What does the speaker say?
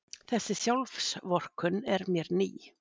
Þessi sjálfsvorkunn er mér ný.